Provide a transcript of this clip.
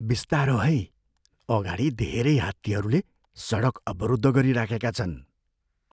बिस्तारो है। अगाडि धेरै हात्तीहरूले सडक अवरुद्ध गरिराखेका छन्।